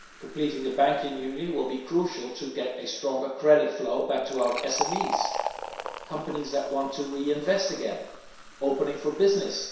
Completing the Banking Union will be crucial to get a stronger credit flow back to our SMEs, companies wanting to reinvest again and others opening for business.